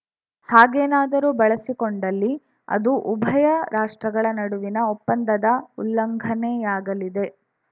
ಹಾಗೇನಾದರೂ ಬಳಸಿಕೊಂಡಲ್ಲಿ ಅದು ಉಭಯ ರಾಷ್ಟ್ರಗಳ ನಡುವಿನ ಒಪ್ಪಂದದ ಉಲ್ಲಂಘನೆಯಾಗಲಿದೆ